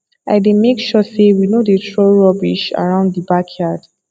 i dey make sure say we no dey throw rubbish around the backyard